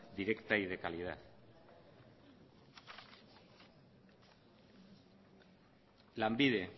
directa y de calidad lanbide